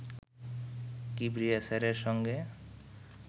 কিবরিয়া স্যারের সঙ্গে